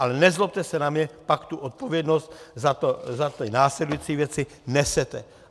Ale nezlobte se na mě, pak tu odpovědnost za ty následující věci nesete.